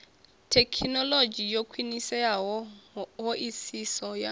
thekhinolodzhi yo khwiniseaho hoisiso ya